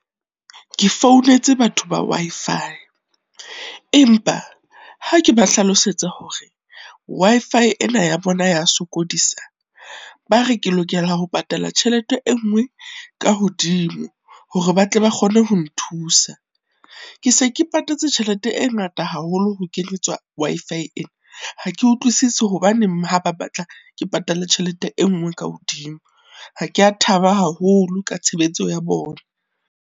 Ke founetse batho ba Wi-Fi, empa ha ke ba hlalosetsa hore Wi-Fi ena ya bona ya sokodisa, ba re ke lokela ho patala tjhelete e nngwe ka hodimo, hore ba tle ba kgone ho nthusa. Ke se ke patetse tjhelete e ngata haholo ho kenyeletswa Wi-Fi ena, ha ke utlwisisi hobaneng ha ba batla ke patale tjhelete e nngwe ka hodimo, ha kea thaba haholo ka tshebetso ya bona.